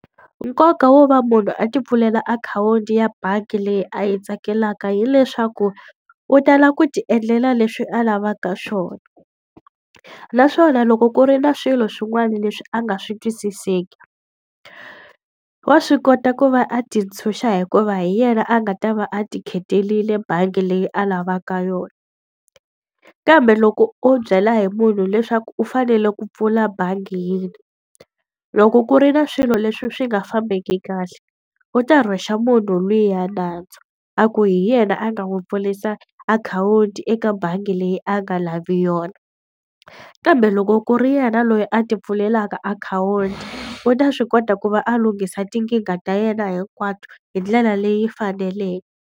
Nkoka wo va munhu a tipfulela akhawunti ya bangi leyi a yi tsakelaka hileswaku, u tala ku tiendlela leswi a lavaka swona. Naswona loko ku ri na swilo swin'wana leswi a nga swi twisiseki, wa swi kota ku va a tintshunxa hikuva hi yena a nga ta va a ti khetile bangi leyi a lavaka yona. Kambe loko o byela hi munhu leswaku u fanele ku pfula bangi yini, loko ku ri na swilo leswi swi nga fambeki kahle, u ta rhwexa munhu luya nandzu. A ku hi yena a nga n'wi pfurisa akhawunti eka bangi leyi a nga lavi yona. Kambe loko ku ri yena loyi a tipfulelaka akhawunti, u ta swi kota ku va a lunghisa tikingha ta yena hinkwato hi ndlela leyi faneleke.